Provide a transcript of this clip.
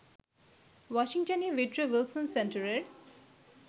ওয়াশিংটনে Woodrow Wilson সেন্টারের